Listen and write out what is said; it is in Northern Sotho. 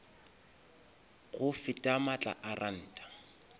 go feta maatla a ranta